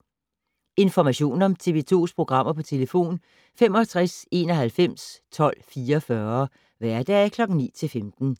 Information om TV 2's programmer: 65 91 12 44, hverdage 9-15.